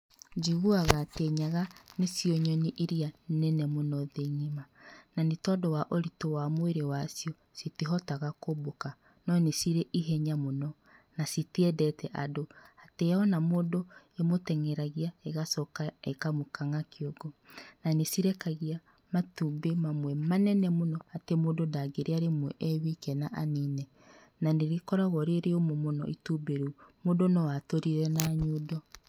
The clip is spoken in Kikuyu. Njiguaga atĩ nyaga nĩcio nyoni iria nene mũno thĩ ng'ima. Na nĩ tondũ wa ũritũ wa mwĩrĩ wacio, citihotaga kũmbũka, no nĩ cirĩ ihenya mũno, na citiendete andũ. Atĩ yona mũndũ ĩmũteng'eragia, ĩgacoka ĩkamũkang'a kĩongo. Na nĩ cirekagia matumbĩ mamwe manene mũno atĩ mũndũ ndangĩrĩa rĩmwe ewike na anine. Na nĩ gĩkoragwo rĩ rĩũmũ mũno, mũndũ no atũrire na nyundo.